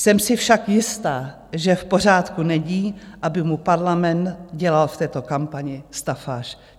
Jsem si však jistá, že v pořádku není, aby mu Parlament dělal v této kampani stafáž.